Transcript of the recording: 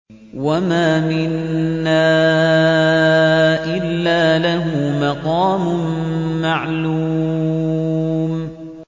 وَمَا مِنَّا إِلَّا لَهُ مَقَامٌ مَّعْلُومٌ